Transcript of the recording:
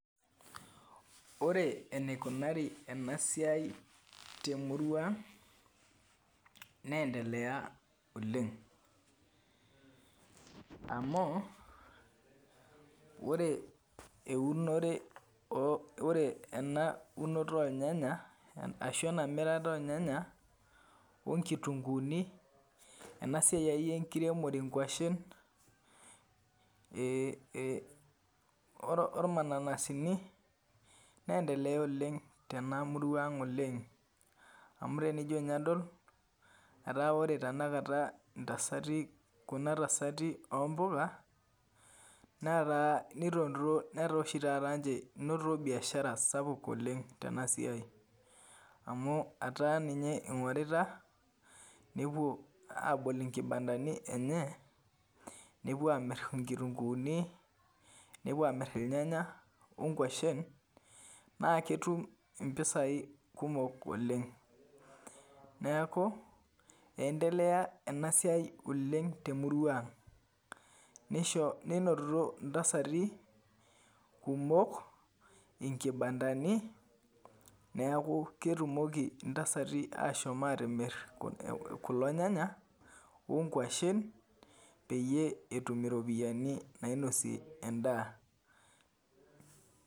Ore enikunari enasiai temurua ang, nendelea oleng. Amu, ore eunore ore ena unoto ornyanya, ashu enamirita ornyanya onkitunkuuni, enasiai akeyie enkiremore nkwashen, ormanananasini, nendelea oleng tena murua ang oleng. Amu tenijo nye adol, etaa ore tanakata intasati kuna tasati ompuka, netaa ninotito netaa oshi taata nche enotito biashara sapuk oleng tenasiai. Amu etaa ninye ing'orita, nepuo abol inkibandani enye, nepuo amir inkitunkuuni, nepuo amir irnyanya onkwashen, naa ketum impisai kumok oleng. Neeku, endelea enasiai oleng temurua ang. Nisho ninotito intasati, kumok, inkibandani, neeku ketumoki intasati ashomo atimir kulo nyanya, onkwashen, peyie etum iropiyiani nainosie endaa.